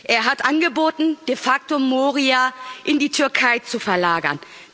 Er hat angeboten, de facto Moria in die Türkei zu verlagern.